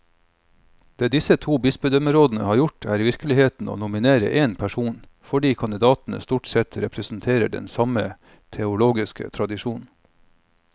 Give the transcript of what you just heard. Det disse to bispedømmerådene har gjort, er i virkeligheten å nominere én person, fordi kandidatene stort sett representerer den samme teologiske tradisjon.